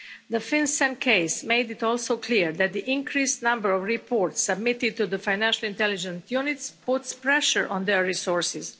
The FinCEN case made it also clear that the increased number of reports submitted to the financial intelligence units puts pressure on their resources.